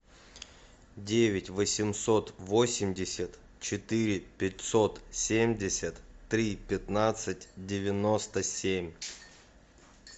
девять восемьсот восемьдесят четыре пятьсот семьдесят три пятнадцать девяносто семь